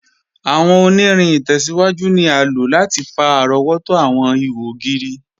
Awọn ọ̀nìrìn itẹ̀síwájú ni a ló láti fà arọ̀wọ̀tó awọn ìhò ogiri.